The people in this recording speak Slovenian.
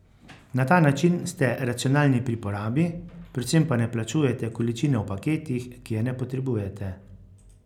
Na ta način ste racionalni pri porabi, predvsem pa ne plačujete količine v paketih, ki je ne potrebujete.